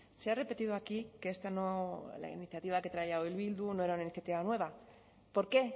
se ha repetido aquí que esta la iniciativa que traía hoy bildu no era una iniciativa nueva por qué